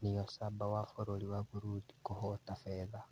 Niyosaba wa bũrũri wa Burundi kũhota betha